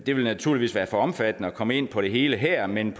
det vil naturligvis være for omfattende at komme ind på det hele her men